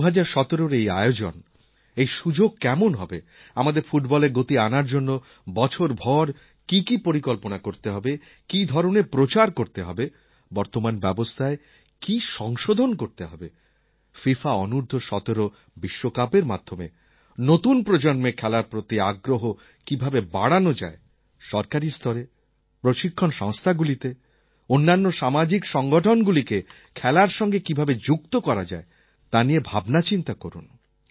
২০১৭র এই আয়োজন এই সুযোগ কেমন হবে আমাদের ফুটবলে গতি আনার জন্য বছরভর কী কী পরিকল্পনা করতে হবে কী ধরনের প্রচার করতে হবে বর্তমান ব্যবস্থায় কী সংশোধন করতে হবে ফিফা অনূর্দ্ধ১৭ বিশ্বকাপের মাধ্যমে নতুন প্রজন্মের খেলার প্রতি আগ্রহ কীভাবে বাড়ানো যায় সরকারী স্তরে প্রশিক্ষণ সংস্থাগুলিতে অন্যান্য সামাজিক সংগঠনগুলিকে খেলার সঙ্গে কীভাবে যুক্ত করা যায় তা নিয়ে ভাবনাচিন্তা করুন